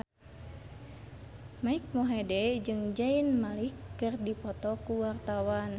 Mike Mohede jeung Zayn Malik keur dipoto ku wartawan